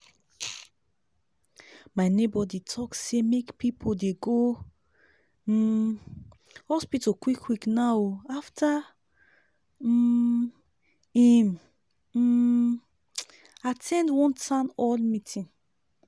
my neighbor dey talk say make people dey go um hospital quick quick now ooo after um im um at ten d one town hall meeting.